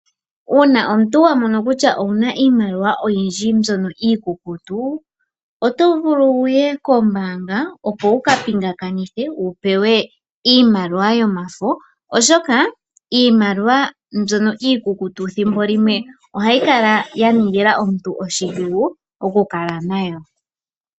Una omuntu wa mono kutya owuna iimaliwa oyindji mbyono iikukutu, oto vulu wuye kombanga opo wuka pingakanithe wu pewe iimaliwa yomafo, oshoka iimaliwa mbyono iikukutu thimbo limwe ohayi vulu oku kala ya ningila omuntu oshidhigu oku kala nayo.